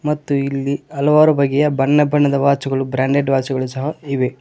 ಮತ್ತೆ ಇಲ್ಲಿ ಹಲವಾರು ಬಗೆಯ ಬಣ್ಣ ಬಣ್ಣದ ವಾಚುಗಳು ಬ್ರಾಂಡೆಡ್ ವಾಚ್ ಗಳು ಸಹ ಇವೆ.